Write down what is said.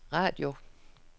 radio